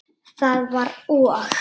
Það var og!